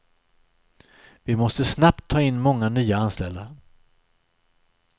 Vi måste snabbt ta in många nya anställda.